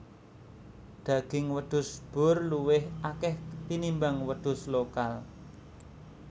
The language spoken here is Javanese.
Daging wedhus boer luwih akeh tinimbang wedhus lokal